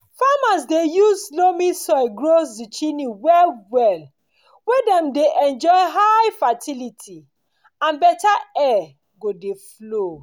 farmers dey use dey use loamy soil grow zucchini well well wey dey go dey enjoy high fertility and better air go dey flow